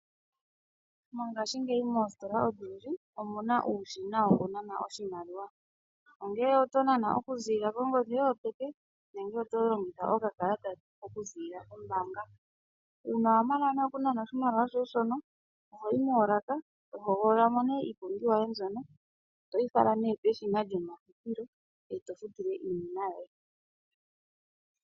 Mongashingeyi moositola odhindji omuna uushina wo ku nana oshimaliwa ongele oto nana okuziilila kongodhi yoye yopeke nenge oto longitha okakalata okuziilila kombaanga. Uuna wa mana nee okunana oshimaliwa shoye shono ohoyi moolaka to hogolola mo nee iipumbiwa yoye mbyono, toyi fala peshina lyomafutilo e to futu nee iinima yoye.